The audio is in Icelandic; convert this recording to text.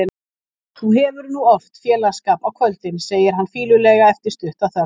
Þú hefur nú oft félagsskap á kvöldin, segir hann fýlulega eftir stutta þögn.